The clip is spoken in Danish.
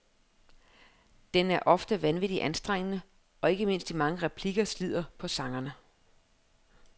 Den er ofte vanvittigt anstrengende, og ikke mindst de mange replikker slider på sangerne.